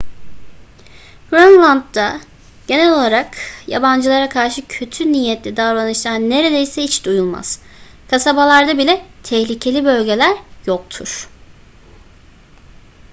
grönland'da genel olarak yabancılara karşı kötü niyetli davranışlar neredeyse hiç duyulmaz kasabalarda bile tehlikeli bölgeler yoktur